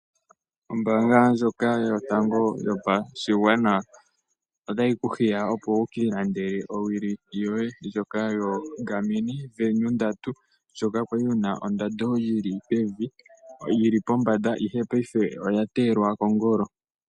Ombaanga ndjoka yotango yopashigwana otayi ku hiya opo wu ka ilandele owili yoye ndjoka yoGarmin Venu 3, ndjoka ya li yi na ondando yi li pombanda, ihe paife oya teyelwa kongolo.